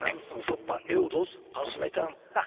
намысың жоқ па еу дос қалжың айтам